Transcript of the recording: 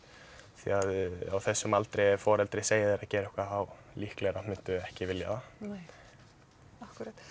því að á þessum aldri ef foreldri segir þér að gera eitthvað þá líklega muntu ekki vilja það nei akkúrat